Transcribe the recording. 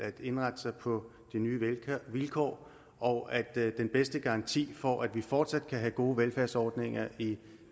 at indrette sig på de nye vilkår og at den bedste garanti for at vi fortsat kan have gode velfærdsordninger i